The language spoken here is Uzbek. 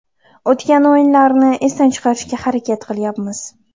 O‘tgan o‘yinlarni esdan chiqarishga harakat qilyapmiz.